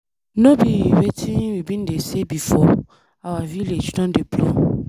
No be wetin we bin dey say before? Our village don dey blow.